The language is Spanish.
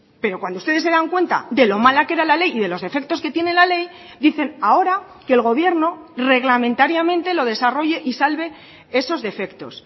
pero cuando ustedes se dan cuenta de lo mala que era la ley y de los defectos que tiene la ley dicen ahora que el gobierno reglamentariamente lo desarrolle y salve esos defectos